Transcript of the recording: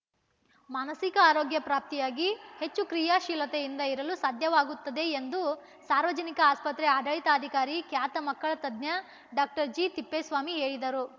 ಮಾನಸಿಕ ಆರೋಗ್ಯ ಪ್ರಾಪ್ತಿಯಾಗಿ ಹೆಚ್ಚು ಕ್ರಿಯಾಶೀಲತೆಯಿಂದ ಇರಲು ಸಾಧ್ಯವಾಗುತ್ತದೆ ಎಂದು ಸಾರ್ವಜನಿಕ ಆಸ್ಪತ್ರೆ ಆಡಳಿತಾಧಿಕಾರಿ ಖ್ಯಾತ ಮಕ್ಕಳ ತಜ್ಞ ಡಾಕ್ಟರ್ ಜಿತಿಪ್ಪೇಸ್ವಾಮಿ ಹೇಳಿದರು